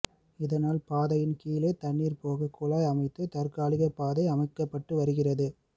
இதனால் பாதையின் கீழே தண்ணீர் போக குழாய் அமைத்து தற்காலிக பாதை அமைக்கப்பட்டு வருகிறது